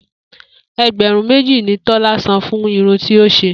E̩gbè̩rún méjì ni Tó̩lá san fún irun tí ó s̩e